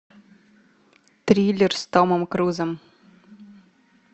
триллер с томом крузом